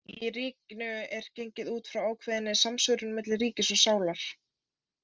Í Ríkinu er gengið út frá ákveðinni samsvörun milli ríkis og sálar.